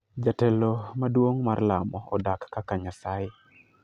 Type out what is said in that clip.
"Jatelo maduong' mar lamo odak kaka nyasaye.